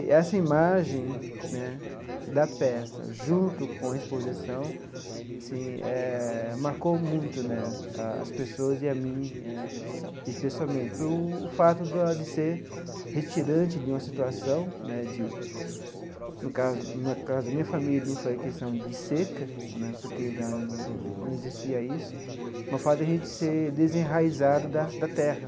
E essa imagem né da peça, junto com a exposição, assim eh marcou muito né as pessoas e a mim eh, especialmente, pelo fato da de ser retirante de uma situação né – no caso na casa da minha família, não foi a questão de seca né, porque lá não não não existia isso –, do fato de a gente ser desenraizado da da terra.